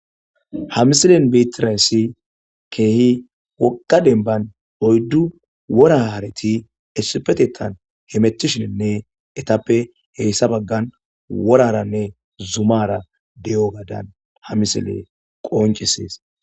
ha misilen betirayssi keehi wogga denban oyddu wora hareti esipetetan hemettishinne ettappe heyssa baggan woraranne zumara de'ogadan ha misile qoncisees